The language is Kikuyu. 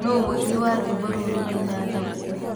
no mũini wa rwĩmbo rũũ rũraina thaaici